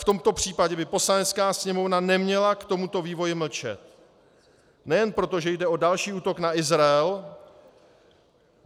v tomto případě by Poslanecká sněmovna neměla k tomuto vývoji mlčet nejen proto, že jde o další útok na Izrael.